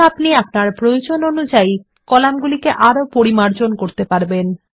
এখন আপনি প্রয়োজন অনুযায়ী কলামগুলি আরো পরিমার্জন করতে পারবেন